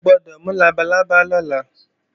O gbọ́dọ̀ mú labalábá lọ́la!